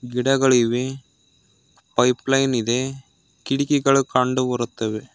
ಗಿಡಗಳಿವೆ ಪೈಪ್ಲೈನ್ ಇದೆ ಕಿಟಕಿಗಳು ಕಂಡು ಬರುತ್ತವೆ.